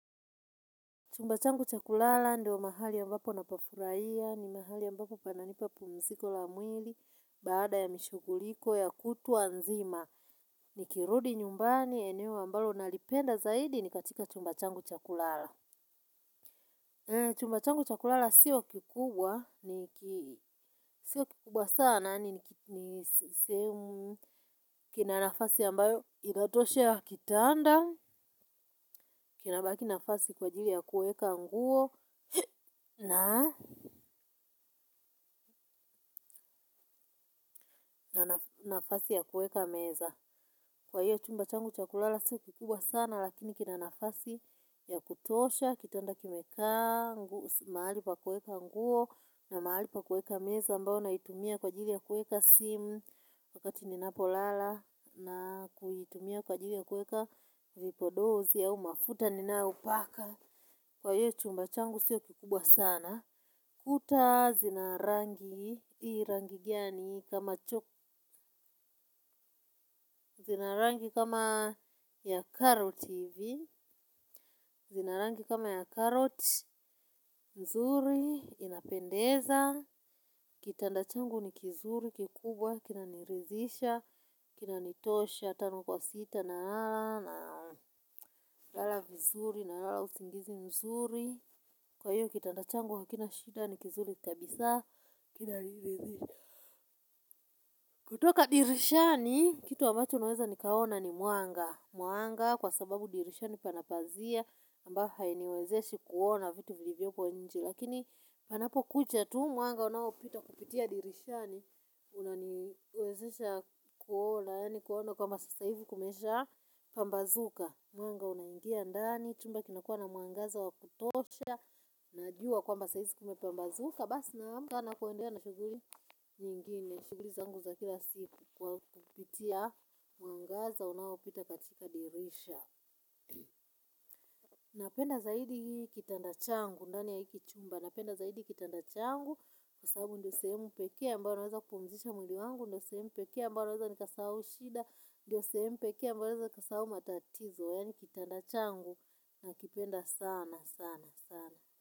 Chumba changu chakulala ndio mahali ambapo napafurahia, ni mahali ambapo pananipa pumziko la mwili, baada ya mishuguliko ya kutwa nzima. Nikirudi nyumbani, eneo ambalo nalipenda zaidi ni katika chumba changu cha kulala. Chumba changu cha kulala si kikubwa, ni ki. Sio kikubwa sana, ni sehemu. Kina nafasi ambalo inatosha ya kitanda, kinabaki nafasi kwa ajili ya kuweka nguo. Nafasi ya kueka meza. Kwa hiyo chumba changu cha kulala sio kikubwa sana lakini kina nafasi ya kutosha, kitanda kimekaa, mahali pa kuweka nguo. Na mahali pa kueka meza mbao naitumia kwa ajili ya kuweka simu. Wakati ninapolala na kuitumia kwa ajili ya kueka vipodozi au mafuta ninayopaka. Kwa hiyo chumba changu sio kikubwa sana. Kuta zina rangi, zina rangi kama ya karoti hivi, zina rangi kama ya karoti, nzuri, inapendeza. Kitanda changu ni kizuri kikubwa, kinaniridhisha, kina nitosha, tano kwa sita nalala. Lala vizuri nalala usingizi mzuri kwa hiyo kitanda changu hakina shida ni kizuri kabisa, kinaniridhisha. Kutoka dirishani, kitu ambacho naweza nikaona ni mwanga. Mwanga kwa sababu dirishani pana pazia, ambayo hainiwezeshi kuona vitu vilivyoko nje. Lakini panapokucha tu mwanga unaopita kupitia dirishani, unawezesha kuona, kuona kwamba sasa hivi kumesha, pambazuka mwanga unaingia ndani, chumba kinakuwa na mwangaza wa kutosha. Najua kwamba saa hizi kume pambazuka basi namka na kuendea na shughuli nyingine, shughuli zangu za kila siku kwa kupitia, mwangaza unaopita katika dirisha. Napenda zaidi kitanda changu ndani ya hiki chumba. Napenda zaidi kitanda changu, kwa sababu ndio sehemu pekee abayo naweza kupumzisha mwili wangu, ndio sehemu pekee ambayo naweza nikasahau shida. Ndio sehemu peke ambayo naweza nikasahau matatizo yaani kitanda changu. Nakipenda sana, sana, sana.